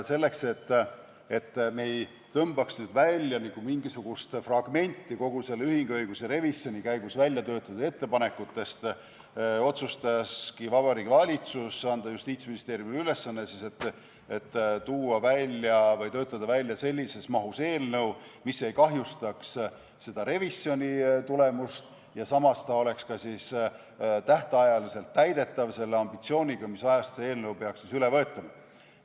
Selleks, et me ei tõmbaks välja nagu mingisugust fragmenti selle ühinguõiguse revisjoni käigus väljatöötatud ettepanekutest, otsustaski Vabariigi Valitsus anda Justiitsministeeriumile ülesande töötada välja sellises mahus eelnõu, mis ei kahjustaks revisjoni tulemust ja samas oleks tähtajaks täidetav, sellise ambitsiooniga, mis ajaks see eelnõu peaks vastu võetama.